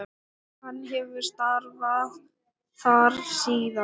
Hann hefur starfað þar síðan.